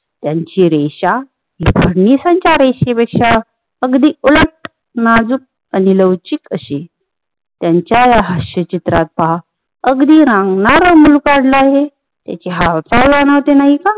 त्यांची रेषा ही फडणिसांच्या रेषेपेक्षा अगदी उलट नाजुक आणि लवचिक अशी त्यांच्या या हास्यचित्रात पहा अगदी रांगणार मुल काढल आहे त्याचे हावभाव मनाचे नाही का